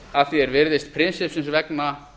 að því er virðist prinsippsins vegna